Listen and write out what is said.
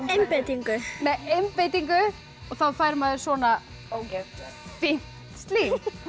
einbeitingu með einbeitingu þá fær maður svona fínt slím